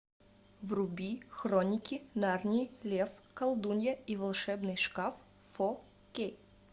вруби хроники нарнии лев колдунья и волшебный шкаф фо кей